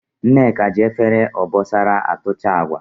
Nneka ji Efere obosara atucha Agwa